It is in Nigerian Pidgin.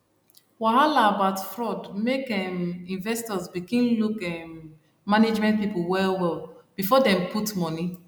wahala about fraud make um investors begin look um management people well well before dem put money